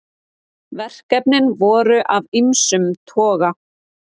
Verkefnin voru af ýmsum toga